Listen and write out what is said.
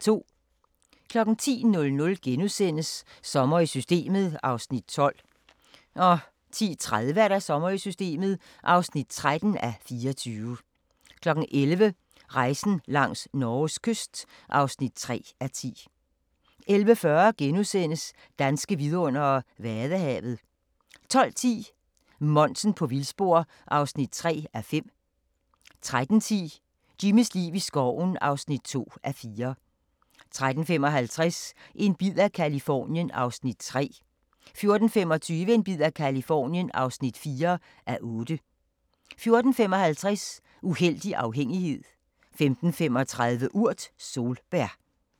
10:00: Sommer i Systemet (12:24)* 10:30: Sommer i Systemet (13:24) 11:00: Rejsen langs Norges kyst (3:10) 11:40: Danske vidundere: Vadehavet * 12:10: Monsen på vildspor (3:5) 13:10: Jimmys liv i skoven (2:4) 13:55: En bid af Californien (3:8) 14:25: En bid af Californien (4:8) 14:55: Uhellig afhængighed 15:35: Urt: Solbær